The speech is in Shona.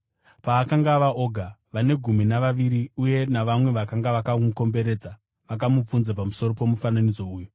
Paakanga ava oga, vane gumi navaviri uye navamwe vakanga vakamukomberedza vakamubvunza pamusoro pomufananidzo uyu.